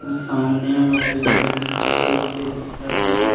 सामने म पेड़ भी कटे-उटे दिखत हे।